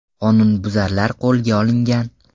Qonunbuzarlar qo‘lga olingan.